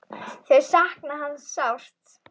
Þau sakna hans sárt.